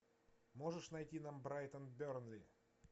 можешь найти нам брайтон бернли